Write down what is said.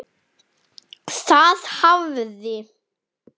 Það hafði